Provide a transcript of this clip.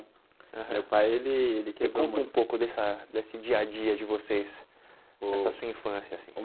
Aham Meu pai ele ele quebrou muito... Me conta um pouco dessa desse dia-a-dia de vocês, dessa sua infância assim.